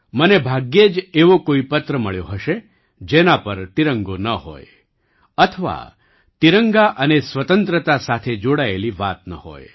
મને ભાગ્યે જ એવો કોઈ પત્ર મળ્યો હશે જેના પર તિરંગો ન હોય અથવા તિરંગા અને સ્વતંત્રતા સાથે જોડાયેલી વાત ન હોય